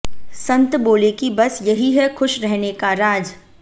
संत बोले कि बस यही है खुश रहने का राज